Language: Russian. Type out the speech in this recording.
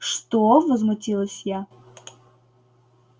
что возмутилась я